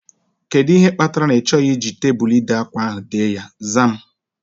Kedụ ihe kpatara na ị chọghị iji tebụlu ide ákwá ahu dee ya? Zaa m